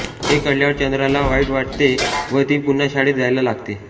हे कळल्यावर चंदाला वाईट वाटते व ती पुन्हा शाळेत जायला लागते